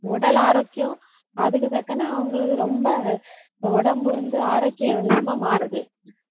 உடல் ஆரோக்கியம் அதுக்கு தக்கன அவங்களுக்கு ரொம்ப உடம்பு வந்து ஆரோக்கியம் இல்லாம மாறுது.